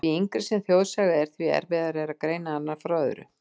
Því yngri sem þjóðsaga er, því erfiðara er að greina hana frá öðru.